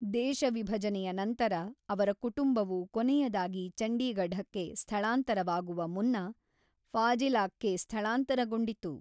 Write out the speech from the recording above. ದೇಶ ವಿಭಜನೆಯ ನಂತರ ಅವರ ಕುಟುಂಬವು ಕೊನೆಯದಾಗಿ ಚಂಡೀಗಢಕ್ಕೆ ಸ್ಥಳಾಂತರವಾಗುವ ಮುನ್ನ ಫಾಜಿಲಾಕ್ಕೆ ಸ್ಥಳಾಂತರಗೊಂಡಿತು.